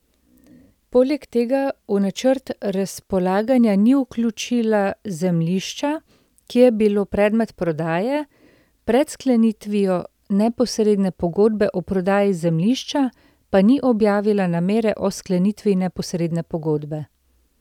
Poleg tega v načrt razpolaganja ni vključila zemljišča, ki je bilo predmet prodaje, pred sklenitvijo neposredne pogodbe o prodaji zemljišča pa ni objavila namere o sklenitvi neposredne pogodbe.